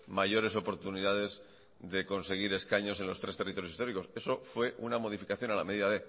mayores oportunidades de conseguir escaños en los tres territorios históricos eso fue una modificación a la medida